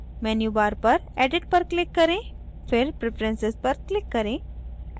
menu bar पर edit पर click करें फिर preferences पर click करें